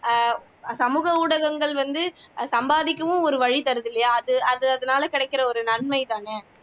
அஹ் சமூக ஊடகங்கள் வந்து சம்பாதிக்கவும் ஒரு வழி தருது இல்லையா அது அது அதுனால கிடைக்கிற ஒரு நன்மைதானே